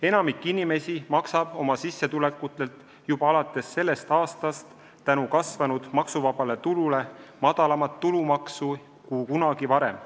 Enamik inimesi maksab oma sissetulekutelt juba alates sellest aastast tänu maksuvaba tulu määra tõstmisele madalamat tulumaksu kui kunagi varem.